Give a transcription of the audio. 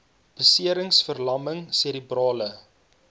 beserings verlamming serebrale